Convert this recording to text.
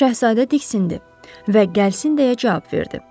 Şahzadə diksindi və gəlsin deyə cavab verdi.